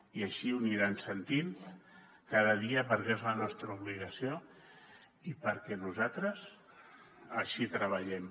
i així ho aniran sentint cada dia perquè és la nostra obligació i perquè nosaltres així treballem